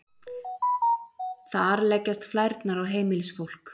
þar leggjast flærnar á heimilisfólk